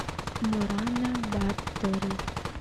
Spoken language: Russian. морана баттори